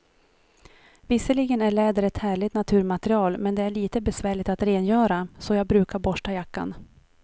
Visserligen är läder ett härligt naturmaterial, men det är lite besvärligt att rengöra, så jag brukar borsta jackan.